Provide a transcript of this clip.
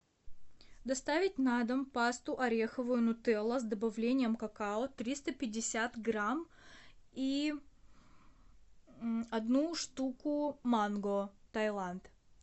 доставить на дом пасту ореховую нутелла с добавлением какао триста пятьдесят грамм и одну штуку манго тайланд